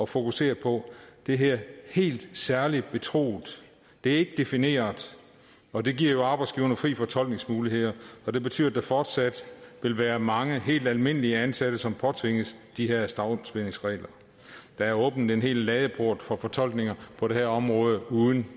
fokusere på det hedder helt særligt betroet det er ikke defineret og det giver jo arbejdsgiverne frie fortolkningsmuligheder det betyder at der fortsat vil være mange helt almindelige ansatte som påtvinges de her stavnsbindingsregler der er åbnet en hel ladeport for fortolkninger på det her område uden